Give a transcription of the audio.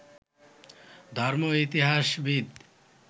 ধর্ম, ইতিহাসবিদ